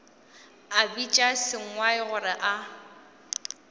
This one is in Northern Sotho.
a bitša sengwai gore a